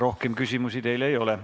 Rohkem küsimusi teile ei ole.